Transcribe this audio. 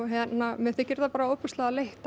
mér þykir þetta bara ofboðslega leitt